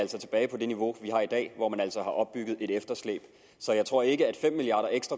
tilbage på det niveau vi har i dag hvor man altså har opbygget et efterslæb så jeg tror ikke at fem milliard